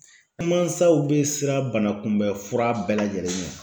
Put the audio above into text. An mansaw bɛ siran banakunbɛnfura bɛɛ lajɛlen ɲɛ